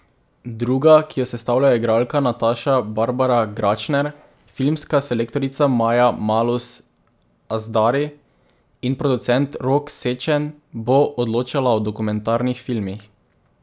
Druga, ki jo sestavljajo igralka Nataša Barbara Gračner, filmska selektorica Maja Malus Azhdari in producent Rok Sečen, bo odločala o dokumentarnih filmih.